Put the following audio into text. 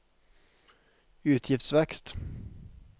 utgiftsvekst